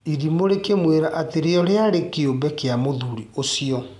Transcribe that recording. Irimũ rĩkĩmwĩra atĩ rĩo rĩarĩ kĩũmbe kĩa mũthuri ũcio.